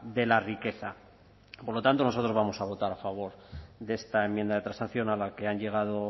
de la riqueza por lo tanto nosotros vamos a votar a favor de esta enmienda de transacción a la que han llegado